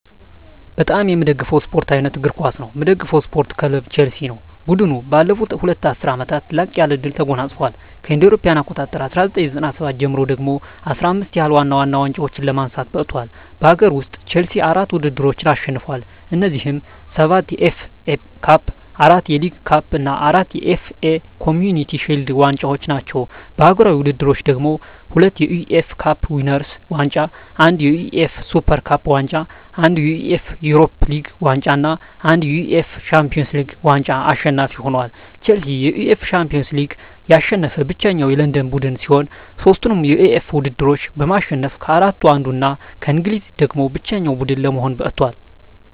በጣም ምወደው ስፓርት አይነት እግር ኳስ ነው። ምደግፈው ስፓርት ክለብ ቸልሲ። ቡድኑ ባለፉት ሁለት ዐሥርት ዓመታት ላቅ ያለ ድል ተጎናጽፏል። ከእ.ኤ.አ 1997 ጀምሮ ደግሞ 15 ያህል ዋና ዋና ዋንጫዎችን ለማንሳት በቅቷል። በአገር ውስጥ፣ ቼልሲ አራት ውድድሮችን አሸንፏል። እነዚህም፤ ሰባት የኤፍ ኤ ካፕ፣ አራት የሊግ ካፕ እና አራት የኤፍ ኤ ኮምዩኒቲ ሺልድ ዋንጫዎች ናቸው። በአህጉራዊ ውድድሮች ደግሞ፤ ሁለት የዩኤፋ ካፕ ዊነርስ ዋንጫ፣ አንድ የዩኤፋ ሱፐር ካፕ ዋንጫ፣ አንድ የዩኤፋ ዩሮፓ ሊግ ዋንጫ እና አንድ የዩኤፋ ሻምፒዮንስ ሊግ ዋንጫ አሸናፊ ሆኖአል። ቼልሲ የዩኤፋ ሻምፒዮንስ ሊግን ያሸነፈ ብቸኛው የለንደን ቡድን ሲሆን፣ ሦስቱንም የዩኤፋ ውድድሮች በማሸነፍ ከአራቱ አንዱ እና ከእንግሊዝ ደግሞ ብቸኛው ቡድን ለመሆን በቅቷል።